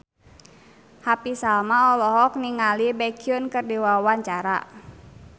Happy Salma olohok ningali Baekhyun keur diwawancara